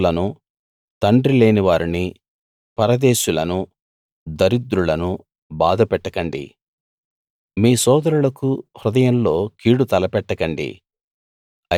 వితంతువులను తండ్రిలేని వారిని పరదేశులను దరిద్రులను బాధపెట్టకండి మీ సోదరులకు హృదయంలో కీడు తలపెట్టకండి